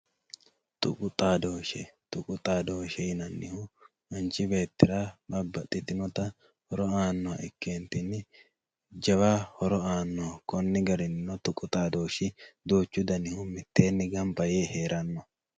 Tuqu xaaddoshe, tuqu xaaddoshe yinannihu manchi beettira babaxitinotta horo aannoha ikkeenitinni jawa horo aannoho koni garinninno tuqu xaaddooshi duuchu garinni mitteenni gamba yee heerano.